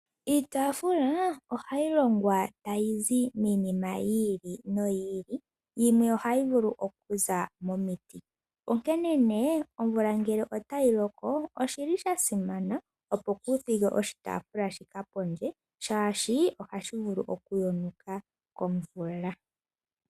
Iitafula, ohayi longwa tayi zi miinima yi ili noyi ili, yimwe ohayi vulu okuza momiti. Onkene nee omvula ngelee otayi loko, oshi li sha simana opo ku thige oshitaafula shika pondje, shaashi ohashi vulu oku yonuka komvula.